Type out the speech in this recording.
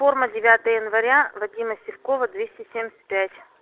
форма девятое января вадима сивкова двести семьдесят пять